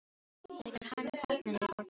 Þegar hann þagnaði fór Tinna að gráta.